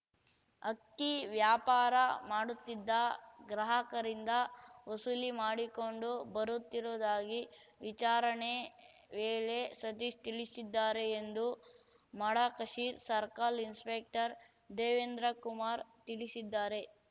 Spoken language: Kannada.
ಅಕ್ಕಿ ವ್ಯಾಪಾರ ಮಾಡುತ್ತಿದ್ದ ಗ್ರಾಹಕರಿಂದ ವಸೂಲಿ ಮಾಡಿಕೊಂಡು ಬರುತ್ತಿರುವುದಾಗಿ ವಿಚಾರಣೆ ವೇಳೆ ಸತೀಶ್ ತಿಳಿಸಿದ್ದಾರೆ ಎಂದು ಮಡಕಶಿರ್ ಸರ್ಕಲ್ ಇನ್ಸ್‌ಪೆಕ್ಟರ್ ದೇವೇಂದ್ರಕುಮಾರ್ ತಿಳಿಸಿದ್ದಾರೆ